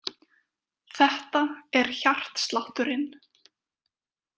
Þetta er hjartslátturinn.